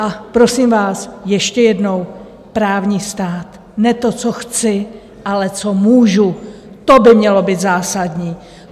A prosím vás, ještě jednou, právní stát: ne to, co chci, ale co můžu, to by mělo být zásadní.